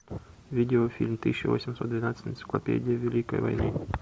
видеофильм тысяча восемьсот двенадцать энциклопедия великой войны